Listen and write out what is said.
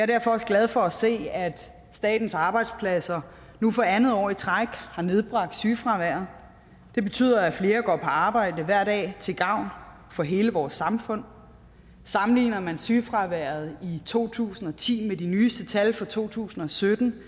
derfor glad for at se at statens arbejdspladser nu for andet år i træk har nedbragt sygefraværet det betyder at flere går på arbejde hver dag til gavn for hele vores samfund sammenligner man sygefraværet i to tusind og ti med de nyeste tal for to tusind og sytten